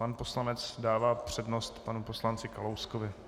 Pan poslanec dává přednost panu poslanci Kalouskovi.